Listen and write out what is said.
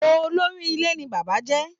Olóri ilé ní bàbá jẹ́.